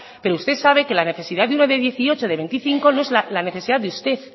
pero usted sabe que la necesidad de uno de dieciocho de veinticinco no es la necesidad de usted